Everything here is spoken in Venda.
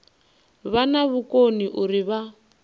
vha na vhukoni uri vha